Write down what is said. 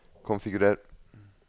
konfigurer